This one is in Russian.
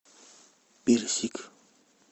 персик